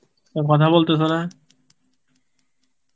কথা বলতেসো না.